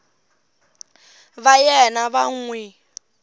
va yena va n wi